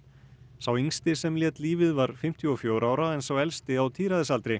sá yngsti sem lét lífið var fimmtíu og fjögurra ára en sá elsti á